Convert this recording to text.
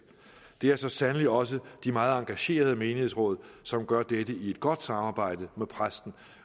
det er så sandelig også de meget engagerede menighedsråd som gør dette i et godt samarbejde med præsten